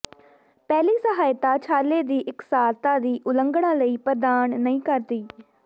ਪਹਿਲੀ ਸਹਾਇਤਾ ਛਾਲੇ ਦੀ ਇਕਸਾਰਤਾ ਦੀ ਉਲੰਘਣਾ ਲਈ ਪ੍ਰਦਾਨ ਨਹੀਂ ਕਰਦੀ